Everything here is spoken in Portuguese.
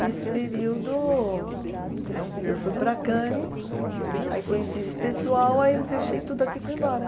Nesse período, eu fui para Cannes, aí conheci esse pessoal, aí eu me deixei tudo aqui e fui embora.